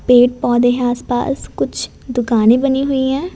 पेड़ पौधे हैं आसपास कुछ दुकानें बनी हुई हैं।